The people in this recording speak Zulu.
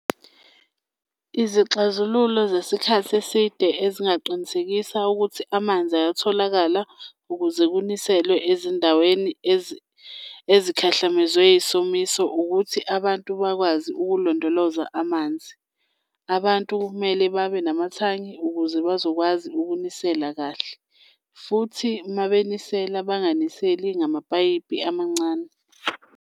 Izixazululo zesikhathi eside ezingaqinisekisa ukuthi amanzi ayatholakala ukuze kuniselwe ezindaweni ezikhahlamezwe isomiso, ukuthi abantu bakwazi ukulondoloza amanzi. Abantu kumele babe namathangi ukuze bazokwazi ukunisela kahle futhi uma benisela banganiseli ngamapayipi amancane.